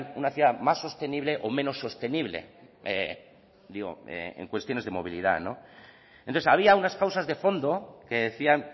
una ciudad más sostenible o menos sostenible digo en cuestiones de movilidad entonces había unas causas de fondo que decían